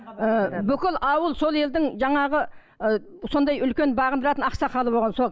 ыыы бүкіл ауыл сол елдің жаңағы ы сондай үлкен бағындыратын ақсақалы болған сол